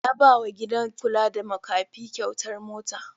Ya ba wa gidan kula da makafi kyautar mota.